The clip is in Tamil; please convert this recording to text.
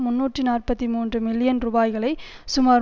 முன்னூற்று நாற்பத்தி மூன்று மில்லியன் ரூபாய்களை சுமார்